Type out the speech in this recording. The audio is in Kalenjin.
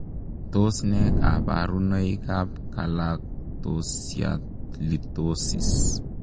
Tos ne kabarunoik ap kalaktosialitosis?